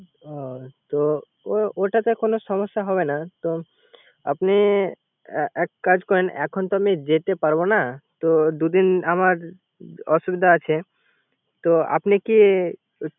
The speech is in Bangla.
অহ তো তো ওটাতে কোন সমস্যা হবে না। আপনি এক কাজ করেন। এখন তো আমি যেতে পারবো না। দুদিন আমার অসুবিধা আছে। তো আপনি কি